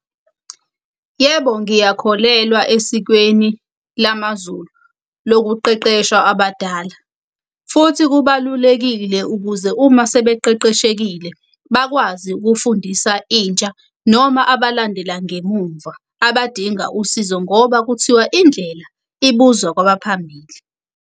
Yebo, ngiyakholelwa esikweni lamazulu lokuqeqeshwa abadala. Futhi kubalulekile ukuze uma sebeqeqeshekile bakwazi ukufundisa intsha, noma abalandela ngemumva abadinga usizo ngoba kuthiwa indlela ibuzwa kwabaphambili.